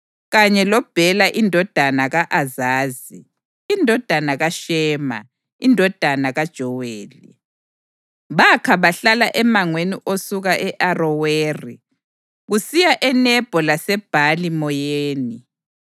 loBhela indodana ka-Azazi, indodana kaShema, indodana kaJoweli. Bakha bahlala emangweni osuka e-Aroweri kusiya eNebho laseBhali-Meyoni.